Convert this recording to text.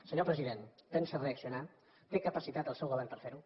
senyor president pensa reaccionar té capacitat el seu govern per fer ho